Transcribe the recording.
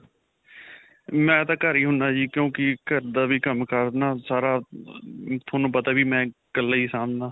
ਮੈਂ ਤਾਂ ਘਰ ਹੀ ਹੁੰਦਾ ਜੀ ਕਿਉਂਕਿ ਘਰ ਦਾ ਵੀ ਕੰਮ-ਕਾਰ ਨਾ ਸਾਰਾ ਤੁਹਾਨੂੰ ਪਤਾ ਹੈ ਵੀ ਕੱਲਾ ਹੀ ਸਾਂਭਦਾ.